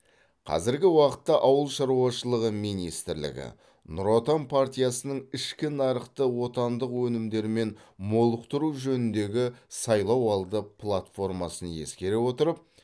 қазіргі уақытта ауыл шаруашылығы министрлігі нұр отан партиясының ішкі нарықты отандық өнімдермен молықтыру жөніндегі сайлауалды платформасын ескере отырып